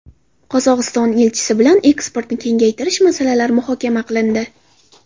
Qozog‘iston elchisi bilan eksportni kengaytirish masalalari muhokama qilindi.